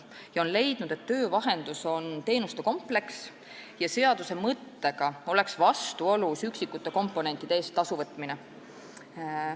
Kohus on leidnud, et töövahendus on teenuste kompleks ja üksikute komponentide eest tasu võtmine oleks seaduse mõttega vastuolus.